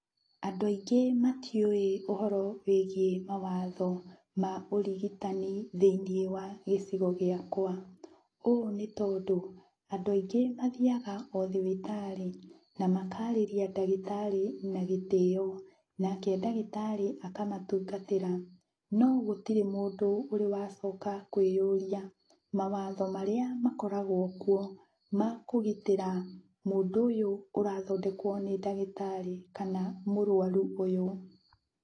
Andũ aingĩ matiũĩ ũhoro wĩgiĩ mawatho ma ũrigitani thĩiniĩ wa gĩcigo gĩakwa, ũũ nĩtondũ andũ aingĩ mathiaga o thibitarĩ na makarĩria ndagĩtarĩ na gĩtĩo, nake ndagĩtarĩ akamatungatĩra, no gũtirĩ mũndũ ũrĩ wacoka kwĩyũria mawatho marĩa makoragwo kuo ma kũgitĩra mũndũ ũyũ ũrathondekwo nĩ ndagĩtarĩ kana mũrwaru ũyũ